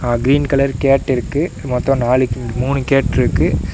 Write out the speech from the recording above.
அ green colour கேட்டிருக்கு மொத்தம் நாலு மூணு கேட்டு ருக்கு.